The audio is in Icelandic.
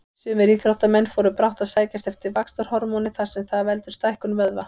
Sumir íþróttamenn fóru brátt að sækjast eftir vaxtarhormóni þar sem það veldur stækkun vöðva.